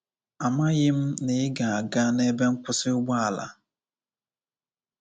Amaghị m na ị ga-aga n’ebe nkwụsị ụgbọala.